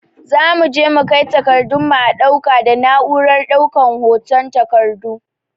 Zamu je mu kai takardun mu a ɗauka da na'urar ɗaukan hoton takardu